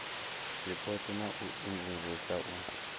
zwipotso na u imvumvusa u